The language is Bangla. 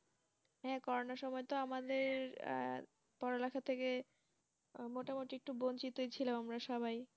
হ্যাঁ করোনার সময় তো আমাদের হ্যাঁ পড়ালেখা থেকে মোটামুটি একটু বঞ্চিতই ছিলাম আমরা সবাই